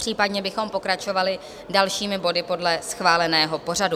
Případně bychom pokračovali dalšími body podle schváleného pořadu.